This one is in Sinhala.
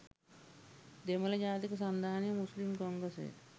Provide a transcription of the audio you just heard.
දෙමළ ජාතික සන්ධාන – මුස්ලිම් කොංග්‍රස්